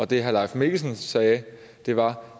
det herre leif mikkelsen sagde var